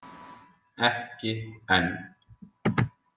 Ekki enn.